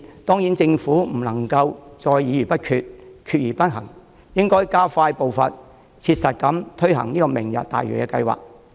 當然，政府不能再議而不決，決而不行，應該加快步伐切實地推行"明日大嶼"計劃。